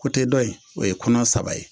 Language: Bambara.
Kote dɔ in o ye kɔnɔ saba ye